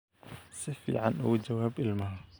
Si fiican ugu jawaab ilmaha